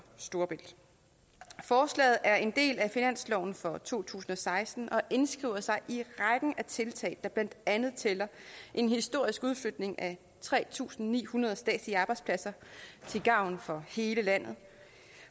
storebælt forslaget er en del af finansloven for to tusind og seksten og indskriver sig i rækken af tiltag der blandt andet tæller en historisk udflytning af tre tusind ni hundrede statslige arbejdspladser til gavn for hele landet